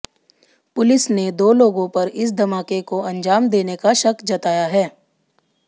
police ने दो लोगों पर इस धमाके को अंजाम देने का शक जताया है